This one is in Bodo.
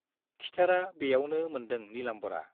खिथेरा बेयावनो मोन्दों नीलाम्बरा।